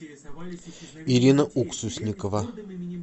ирина уксусникова